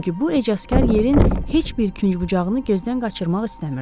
Çünki bu ecazkar yerin heç bir künc-bucağını gözdən qaçırmaq istəmirdi.